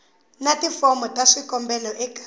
na tifomo ta swikombelo eka